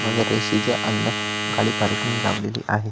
मध्यरेशीच्या अंदर गाडी पार्किंग लावलेली आहे.